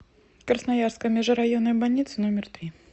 красноярская межрайонная больница номер три